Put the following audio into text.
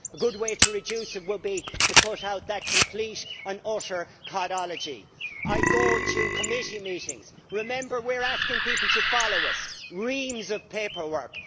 A good way to reduce it would be to cut out that complete and utter codology. I go to committee meetings and remember we are asking people to follow us reams of paperwork!